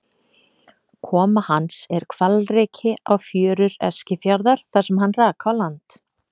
Koma hans er hvalreki á fjörur Eskifjarðar þar sem hann rak á land.